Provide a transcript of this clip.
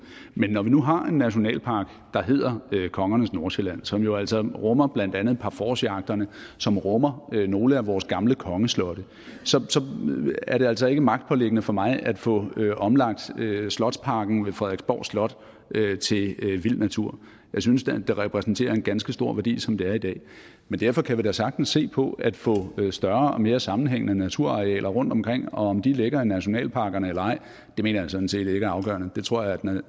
men når vi nu har en nationalpark der hedder kongernes nordsjælland som jo altså rummer blandt andet parforcejagterne som rummer nogle af vores gamle kongeslotte så er det altså ikke magtpåliggende for mig at få omlagt slotsparken ved frederiksborg slot til vild natur jeg synes det repræsenterer en ganske stor værdi som det er i dag men derfor kan vi da sagtens se på at få større og mere sammenhængende naturarealer rundtomkring og om de ligger i nationalparkerne eller ej mener jeg sådan set ikke er afgørende det tror jeg